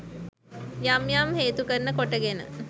යම් යම් හේතු කරන කොටගෙන